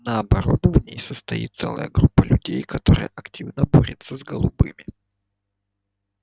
наоборот в ней состоит целая группа людей которая активно борется с голубыми